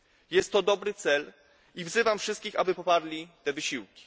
Jest to dobry cel i wzywam wszystkich, aby poparli te wysiłki.